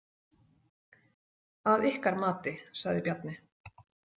Að ykkar mati, sagði Bjarni.